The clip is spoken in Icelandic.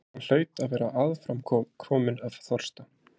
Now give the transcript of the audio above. Hann hlaut að vera aðframkominn af þorsta.